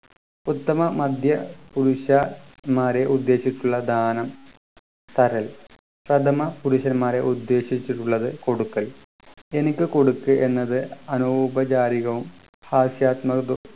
ഉത്തമ മധ്യ പുരുഷ മാരെ ഉദ്ദേശിച്ചിട്ടുള്ള ദാനം തരൽ പ്രഥമപുരുഷന്മാരെ ഉദ്ദേശിച്ചിട്ടുള്ളത് കൊടുക്കൽ എനിക്ക് കൊടുക്ക് എന്നത് അനൗപചാരികവും ഹാസ്യാത്മക